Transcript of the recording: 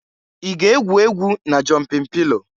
I ga-egwu egwu na jọmpin pilo?